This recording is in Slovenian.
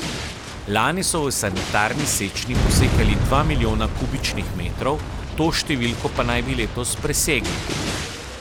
Lani so v sanitarni sečnji posekali dva milijona kubičnih metrov, to številko pa naj bi letos presegli.